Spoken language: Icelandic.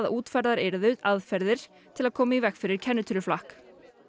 útfærðar yrðu aðferðir til að koma í veg fyrir kennitöluflakk